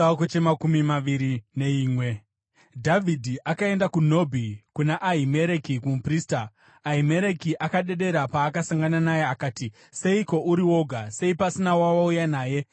Dhavhidhi akaenda kuNobhi, kuna Ahimereki muprista. Ahimereki akadedera paakasangana naye, akati, “Seiko uri woga? Sei pasina wawauya naye?”